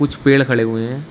कुछ पेड़ खड़े हुए हैं।